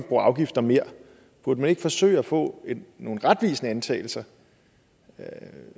bruge afgifter mere burde man ikke forsøge at få nogle retvisende antagelser